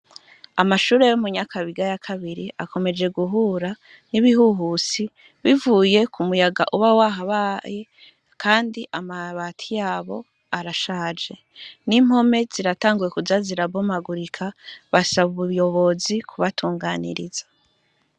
Amashure yo mu Nyakabiga yakabiri akomeje guhura nibihuhusi bicuye kumuyaga uba Waha baye Kandi amabati yahobarashaje nimpome zirayanguye kuza zirabomagurika basaba ubuyobozi kubatunganiriza.